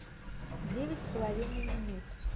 девять с половиной минут